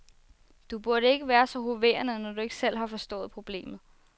Du burde ikke være så hoverende, når du ikke selv har forstået problemet.